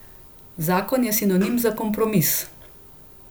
Zakon je sinonim za kompromis.